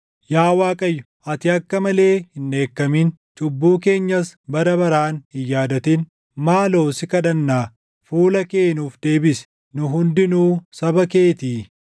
Yaa Waaqayyo, ati akka malee hin dheekkamin; cubbuu keenyas bara baraan hin yaadatin. Maaloo si kadhannaa, fuula kee nuuf deebisi; nu hundinuu saba keetii.